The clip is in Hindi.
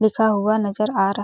लिखा हुआ नजर आ रहा है।